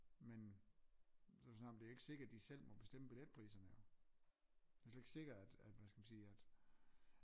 Men så har vi snakket om det er ikke sikkert de selv må bestemme billetpriserne jo det er slet ikke sikkert at hvad skal man sige at